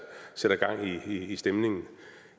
gang i stemningen